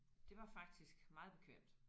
Det var faktisk meget bekvemt